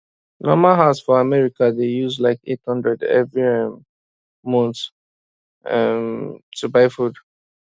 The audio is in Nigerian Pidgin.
normal house for america dey use like 800 every um month um to buy food